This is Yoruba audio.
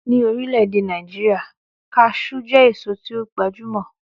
Ní orílẹ̀-èdè Nàìjíríà, Cashew jẹ́ èso tí ó gbajúmọ̀